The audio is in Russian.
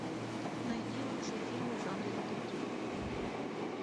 найди лучшие фильмы в жанре детектив